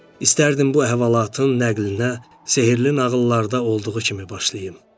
İstərdim bu əhvalatın nəqlinə sehirli nağıllarda olduğu kimi başlayım.